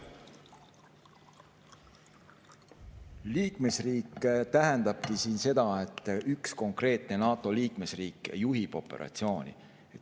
Liikmesriik tähendabki siin seda, et üks konkreetne NATO liikmesriik juhib operatsiooni.